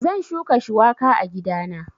Zan shuka shuwaka a gidana